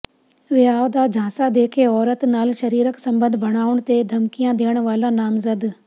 ਵਿਆਹ ਦਾ ਝਾਂਸਾ ਦੇ ਕੇ ਔਰਤ ਨਾਲ ਸਰੀਰਕ ਸਬੰਧ ਬਣਾਉਣ ਤੇ ਧਮਕੀਆਂ ਦੇਣ ਵਾਲਾ ਨਾਮਜ਼ਦ